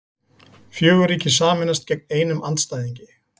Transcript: Fjögur ríki sameinast gegn einum andstæðingi